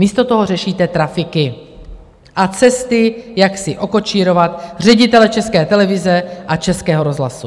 Místo toho řešíte trafiky a cesty, jak si okočírovat ředitele České televize a Českého rozhlasu!